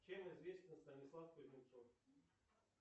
чем известен станислав кузнецов